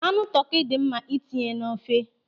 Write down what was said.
Anụ tọkị dị mma ịtinye n'ofe.